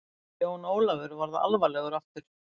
Jón Ólafur varð alvarlegur aftur.